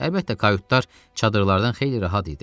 Əlbəttə, kayutlar çadırlardan xeyli rahat idi.